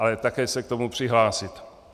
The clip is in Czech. Ale také se k tomu přihlásit.